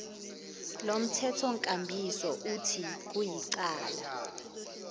lomthethonkambiso uthi kuyicala